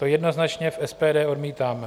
To jednoznačně v SPD odmítáme.